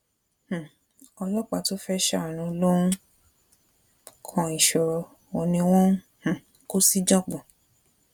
um ọlọpàá tó fẹ́ ṣàánú ló ń kan ìṣòro òun ni wọn ń um kó síjàngbọ̀n